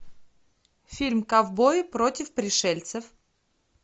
фильм ковбои против пришельцев